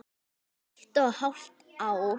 Eitt og hálft ár.